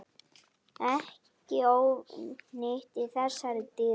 Ekki ónýtt í þessari dýrtíð.